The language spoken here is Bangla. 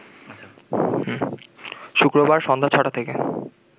শুক্রবার সন্ধ্যা ছ’টা থেকে